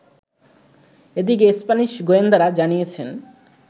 এদিকে, স্প্যানিশ গোয়েন্দারা জানিয়েছেন